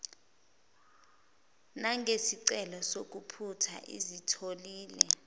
nangesicelo sokuphutha asitholile